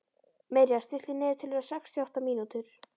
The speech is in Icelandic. Mirja, stilltu niðurteljara á sextíu og átta mínútur.